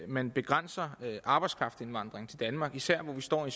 man begrænsede arbejdskraftindvandringen til danmark især når vi står i